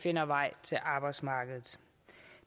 finder vej til arbejdsmarkedet